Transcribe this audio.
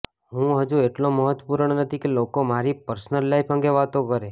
હું હજુ એટલો મહત્વપૂર્ણ નથી કે લોકો મારી પર્સનલ લાઇફ અંગે વાતો કરે